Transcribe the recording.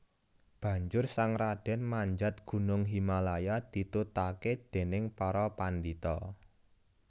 Banjur sang radèn manjat gunung Himalaya ditutaké dèning para pandhita